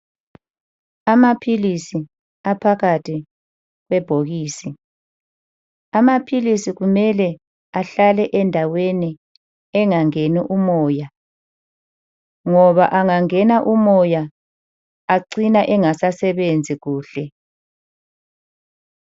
Amaphilisi aphakathi kwebhokisi. Amaphilisi kumele ahlale endaweni engangeni umoya, ngoba angangena umoya, acina engasasebenzi kuhle.